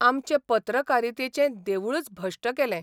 आमचें पत्रकारितेचें देवूळच भश्ट केलें.